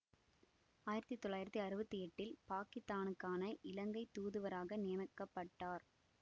ஆயிரத்தி தொள்ளாயிரத்தி அறுபத்தி எட்டில் பாக்கித்தானுக்கான இலங்கை தூதுவராக நியமிக்க பட்டார்